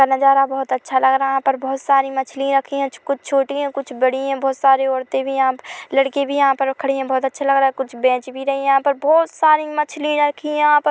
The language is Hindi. नजारा बहुत अच्छा लग रहा है यहाँ पर बहुत मछली रखी है कुछ छोटी है कुछ बड़ी है बहुत सारे औरते भी यहाँ पे -- लड़की भी यहाँ पर खड़ी है बहुत अच्छा लग रहा है कुछ बेंच भी रही है यहाँ पर बहुत सारी मछली रखी है यहाँ पर--